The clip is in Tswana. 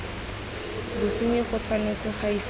bosenyi go tshwanetse ga isiwa